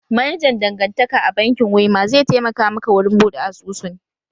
Manajan dangantaka a bankin wema zai taimaka maka wurin buɗe asusun